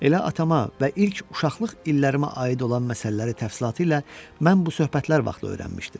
Elə atama və ilk uşaqlıq illərimə aid olan məsələləri təfsilatı ilə mən bu söhbətlər vaxtı öyrənmişdim.